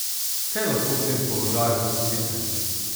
Kaj lahko v tem položaju storite?